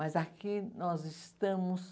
Mas aqui nós estamos...